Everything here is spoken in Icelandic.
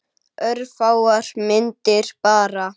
Örfáar myndir bara.